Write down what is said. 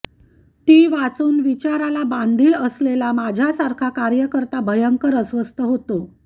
ती वाचून विचाराला बांधील असलेला माझ्यासारखा कार्यकर्ता भयंकर अस्वस्थ होतो